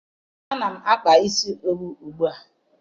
Ana m akpa isi owu ugbu a